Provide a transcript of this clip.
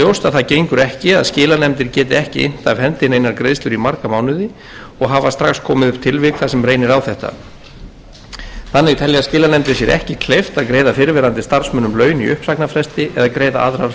það gengur ekki að skilanefndir geti ekki innt af hendi neinar greiðslur í marga mánuði og hafa strax komið upp tilvik þar sem reynir á þetta þannig telja skilanefndir sér ekki kleift að greiða fyrrverandi starfsmönnum laun í uppsagnarfresti eða greiða aðrar forgangskröfur það er því nauðsynlegt